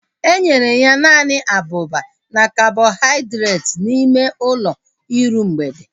Enyere ya naanị abụba na kabọhaidreeti n'ime ụlọ iru mgbede